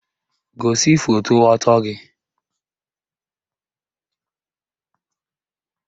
Gosi foto ọtọ gị!